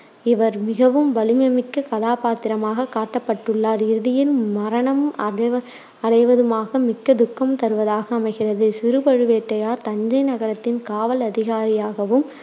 இவர் மிகவும் வலிமைமிக்க கதாபாத்திரமாகக் காட்டப்பட்டுள்ளார். இறுதியில் மரணம் அடை~ அடைவதுமாக மிக்க துக்கம் தருவதாக அமைகிறது. சிறு பழுவேட்டையார் தஞ்சை நகரத்தின் காவல் அதிகாரியாகவும்,